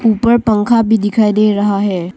ऊपर पंखा भी दिखाई दे रहा है।